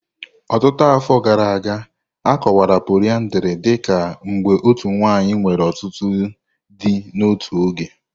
Ọtụtụ afọ gara aga, a kọwara poliyandri dị ka mgbe otu nwanyị nwere ọtụtụ di n'otu oge.